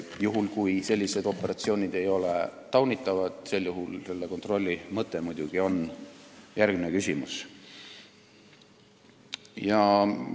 Juhul kui sellised operatsioonid ei ole taunitavad, on muidugi järgmine küsimus sellise kontrolli mõte.